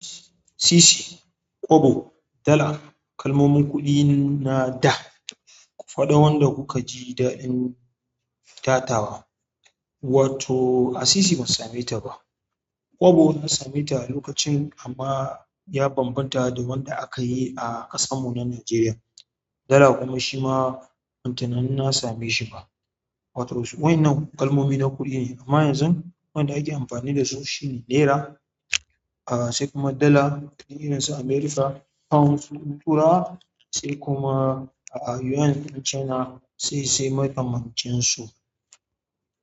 Sisi, kobo, dala kalmomin kuɗi na da, ku faɗa wanda kuka ji daɗin tatawa. Wato a sisi ban sameta ba, kobo na same ta lokacin amma ya bambanta da wanda akayi a ƙasar mu na Nigeria, dala kuma shima banyi tunanin na same shi ba wato su wa'ennan kalmomi na kuɗi ne amma yanzu wanda ake amfani da su shine naira a sai kuma dala na irin su America, pounds na Turai sai kuma a yuan na China sai sai makamancin su.